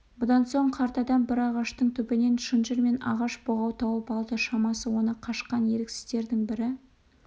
бұдан соң қарт адам бір ағаштың түбінен шынжыр мен ағаш бұғау тауып алды шамасы оны қашқан еріксіздердің бірі